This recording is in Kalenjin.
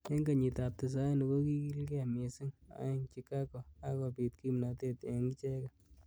Eng kenyit ab tisaini ko kikilgei missing eng Chigago ak kobit kimnatet eng icheket.